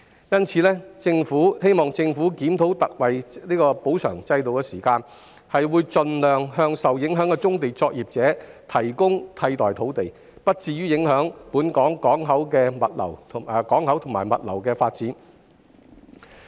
因此，我們希望政府檢討特惠補償制度，並盡量為受影響的棕地作業者提供替代土地，以減低對本港港口及物流業發展的影響。